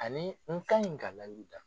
Ani n ka ɲi ka layiru dafa.